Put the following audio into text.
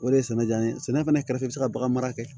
O de ye sɛnɛ diya n ye sɛnɛ fana kɛrɛfɛ bɛ se ka bagan mara kɛ